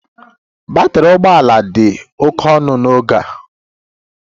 Batrị ụgbọ ala dị oke ọnụ n'oge a